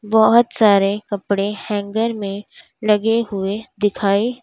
बहोत सारे कपड़े हैंगर में लगे हुए दिखाई--